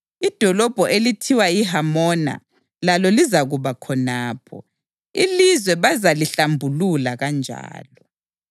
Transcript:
Idolobho elithiwa yiHamona lalo lizakuba khonapho. Ilizwe bazalihlambulula kanjalo.’